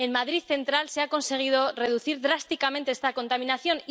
En Madrid Central se ha conseguido reducir drásticamente esta contaminación.